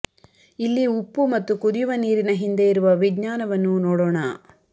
ಇಲ್ಲಿ ಉಪ್ಪು ಮತ್ತು ಕುದಿಯುವ ನೀರಿನ ಹಿಂದೆ ಇರುವ ವಿಜ್ಞಾನವನ್ನು ನೋಡೋಣ